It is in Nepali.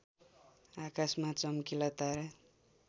आकाशमा चम्किला तारा